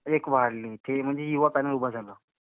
एक वाढली. ते म्हणजे युवा पॅनल उभं झालं.